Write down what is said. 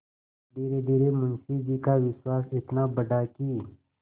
धीरेधीरे मुंशी जी का विश्वास इतना बढ़ा कि